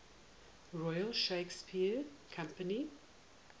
royal shakespeare company